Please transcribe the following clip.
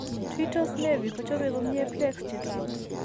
Tuitose nevi ko chope komnye plaques che taku.